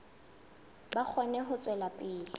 ba kgone ho tswela pele